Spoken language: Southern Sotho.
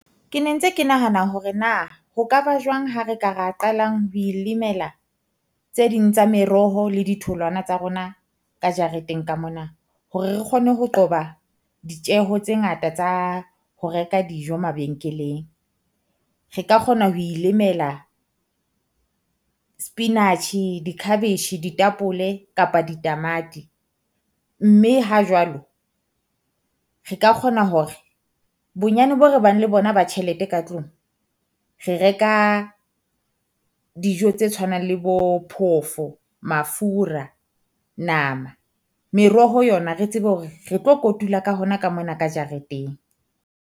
Ke ne ntse ke nahana hore na ho ka ba jwang ha re ka re qalang ho ilimela tse ding tsa meroho le ditholwana tsa rona ka jareteng ka mona. Hore re kgone ho qoba ditjeho tse ngata tsa ho reka dijo mabenkeleng. Re ka kgona ho ilemela spinach di-cabbage ditapole kapa ditamati, mme ha jwalo re ka kgona hore bonyane boo re bang le bona na ba tjhelete ka tlung. Re reka dijo tse tshwanang le bo phofo, mafura, nama, meroho yona Re tsebe hore re tlo kotula ka hona ka mona ka jareteng.